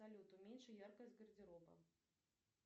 салют уменьши яркость гардероба